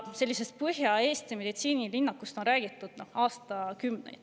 Sellisest Põhja-Eesti meditsiinilinnakust on räägitud aastakümneid.